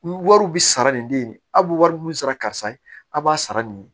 Wariw bi sara nin de ye aw bi wari min sara karisa ye aw b'a sara nin ye